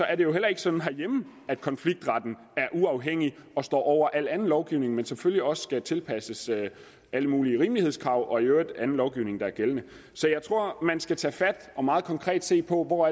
er det jo heller ikke sådan herhjemme at konfliktretten er uafhængig og står over al anden lovgivning den skal selvfølgelig også tilpasses alle mulige rimelighedskrav og i øvrigt anden lovgivning der er gældende så jeg tror at man skal tage fat og meget konkret se på hvor